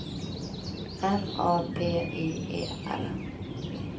N A P I E R